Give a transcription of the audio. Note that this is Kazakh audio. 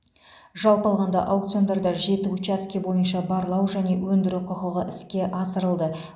жалпы алғанда аукциондарда жеті учаске бойынша барлау және өндіру құқығы іске асырылды